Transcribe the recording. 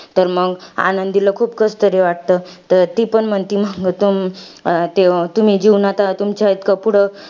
तर मंग, आनंदीला खूप कसतरी वाटतं. तर ती पण म्हणती, मंग तू तुम्ही जीवनांत तुमच्या इतकं पुढं,